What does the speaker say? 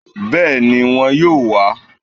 Béèni won yóò wá